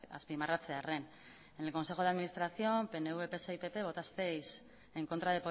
azpimarratzearren en el consejo de administración pnv pse y pp votasteis en contra